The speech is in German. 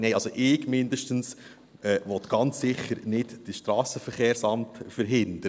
Nein, also mindestens will das SVSA ganz sicher nicht verhindern.